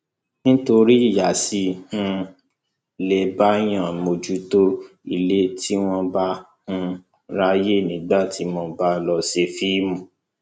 nítorí ìyá ṣì um lè báàyàn mójútó ilé tí wọn bá um ráàyè nígbà tí mo bá lọọ ṣe fíìmù